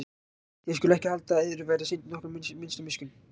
Þér skuluð ekki halda að yður verði sýnd nokkur minnsta miskunn.